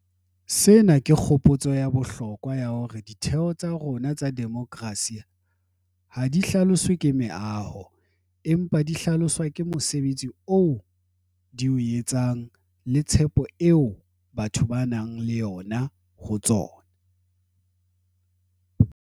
Sena ke kgopotso ya bohlokwa ya hore ditheo tsa rona tsa demokerasi ha di hlaloswe ke meaho, empa di hlaloswa ke mosebetsi oo di o etsang le tshepo eo batho ba nang le yona ho tsona.